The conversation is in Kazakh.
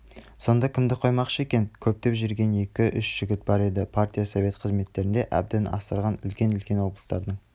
сонда кімді қоймақшы екен көздеп жүрген екі-үш жігіт бар еді партия-совет қызметінде әбден ысылған үлкен-үлкен облыстардың